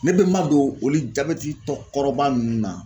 Ne bɛ n ma don olu jabɛtitɔkɔrɔba ninnu na.